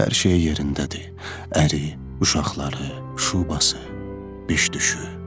Hər şeyi yerindədir: əri, uşaqları, şubası, biş düşü.